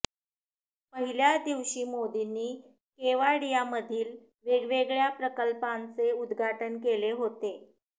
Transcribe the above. पहिल्या दिवशी मोदींनी केवाडियामधील वेगवेगळया प्रकल्पांचे उद्घाटन केले होते